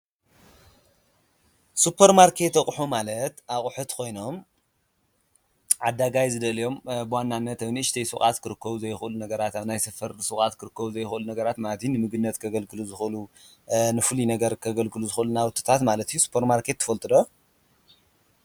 ስፖር ማርኬት ኣቑሑት ማለት ኣቑሑት ኮይኖም ዓዳጋይ ዝደልዮም ብዋናነት ኣብ ንእሽተይ ሹቃት ክርከቡ ዘይክእሉ ነገራት ኣብ ናይ ሰፈር ሹቃት ክርከቡ ዘይክእሉ ነገራት ማለት እዩ። ንምግብነት ከገልግሉ ዝክእሉ ንፍሉይ ነገር ከገልግሉ ዝክእሉ ናውትታት ማለተ እዩ። ስፖር ማርኬት ትፈልጡ ዶ?